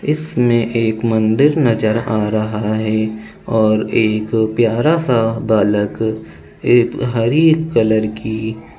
इसमें एक मंदिर नजर आ रहा है और एक प्यारा सा बालक एक हरी कलर की --